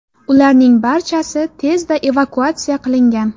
Ularning barchasi tezda evakuatsiya qilingan.